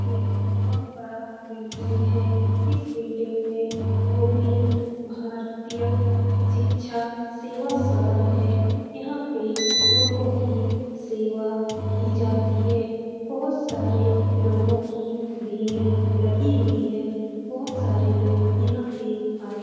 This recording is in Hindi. ये एक बहोत बड़ा बिल्डिंग है इस बिल्डिंग में गोविन्द भारतीय शिक्षा सेवा सदन है यहाँ पे पे लोगो की सेवा की जाती है बहोत सारे लोगो की भीड़ लगी हुई है बहोत सारे लोग यहाँ पे आये है।